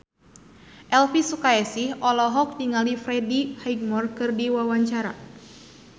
Elvi Sukaesih olohok ningali Freddie Highmore keur diwawancara